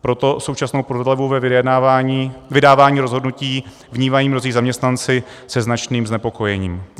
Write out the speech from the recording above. Proto současnou prodlevu ve vydávání rozhodnutí vnímají mnozí zaměstnanci se značným znepokojením.